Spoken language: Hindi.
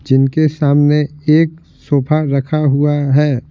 जिनके सामने एक सोफा रखा हुआ है।